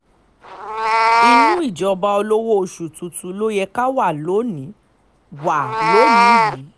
inú ìjọba olówó oṣù tuntun ló yẹ ká wà lónìí wà lónìí yìí